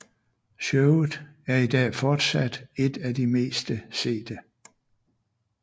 Showet er i dag fortsat et af de meste sete